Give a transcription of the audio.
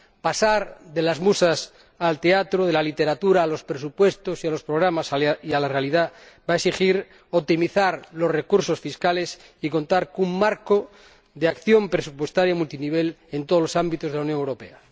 Pasar de las musas al teatro, de la literatura a los presupuestos, a los programas y a la realidad va a exigir optimizar los recursos fiscales y contar con un marco de acción presupuestaria multinivel en todos los ámbitos de la Unión Europea.